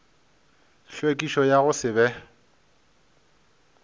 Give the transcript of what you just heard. tlhwekišo ya go se be